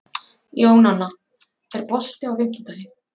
Jónanna, er bolti á fimmtudaginn?